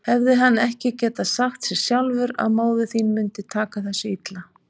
Hefði hann ekki getað sagt sér sjálfur að móðir þín mundi taka þessu illa?